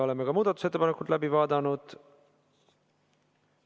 Oleme ka muudatusettepanekud läbi vaadanud.